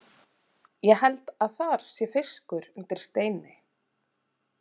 Ég held að þar sé fiskur undir steini.